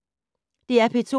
DR P2